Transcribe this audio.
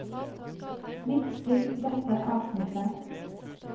Midtstill dette avsnittet